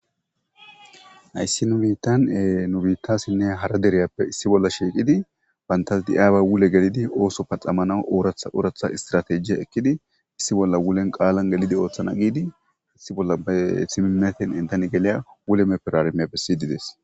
Hayssi nu biitan nu biittasinne hara deriyappe issi bolla shiiqidi bantas di'aaba wule gelidi ooso paxamanawu ooratha oratha istratejiya ekkidi issi bolla wulen qaalan gelidi ooththana giidi hath bolla ba simimetin intan geliya wule mepperarmiyappe siydides.